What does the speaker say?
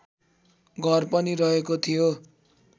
घर पनि रहेको थियो